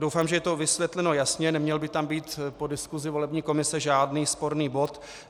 Doufám, že je to vysvětleno jasně, neměl by tam být po diskusi volební komise žádný sporný bod.